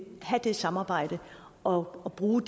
have det samarbejde og bruge